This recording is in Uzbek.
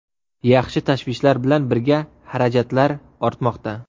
Yaxshi tashvishlar bilan birga xarajatlar ortmoqda.